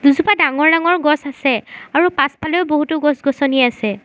এজোপা ডাঙৰ ডাঙৰ গছ আছে আৰু পাছফালেও বহুতো গছ-গছনি আছে।